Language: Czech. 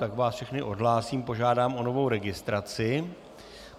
Tak vás všechny odhlásím, požádám o novou registraci.